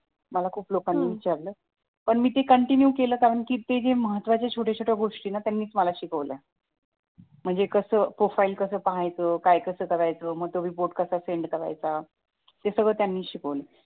मला खूप लोकांनी विचारलं पण मी ते कॉन्टिनीव केलं कारण ते जे महत्वाचं छोट्या छोट्या गोष्टी त्यांनीच मला शिकवलं म्हणजे कसं प्रोफाइल कसं पाहायचं काय कसं करायचं कोणाचा रिपोर्ट कसा सेंड करायचा हे सगळं त्यांनीच शिकवलं